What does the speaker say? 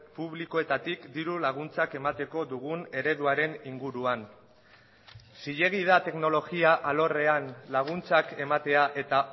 publikoetatik dirulaguntzak emateko dugun ereduaren inguruan zilegi da teknologia alorrean laguntzak ematea eta